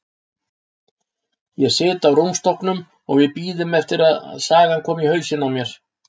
Ég sit á rúmstokknum og við bíðum eftir að sagan komi í hausinn á mér.